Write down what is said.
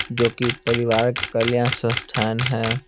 जो कि पारिवारिक कल्याण संस्थान है।